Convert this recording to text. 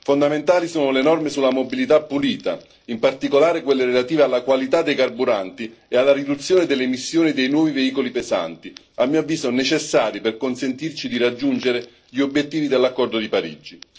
Fondamentali sono le norme sulla mobilità pulita, in particolare quelle relative alla qualità dei carburanti e alla riduzione delle emissioni dei nuovi veicoli pesanti, a mio avviso necessari per consentirci di raggiungere gli obiettivi dell'accordo di Parigi.